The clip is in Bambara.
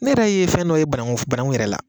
Ne yɛrɛ ye fɛn dɔ ye bananku yɛrɛ la